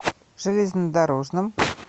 железнодорожном